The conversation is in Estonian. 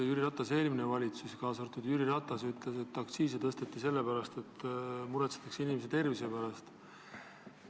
Jüri Ratase eelmine valitsus – kaasa arvatud Jüri Ratas –ütles, et aktsiisi tõsteti sellepärast, et muretsetakse inimeste tervise pärast.